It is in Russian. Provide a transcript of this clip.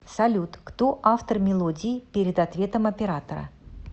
салют кто автор мелодии перед ответом оператора